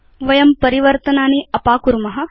वयं परिवर्तनानि अपाकुर्म